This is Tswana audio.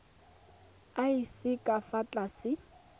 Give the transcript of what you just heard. a seng ka fa tlase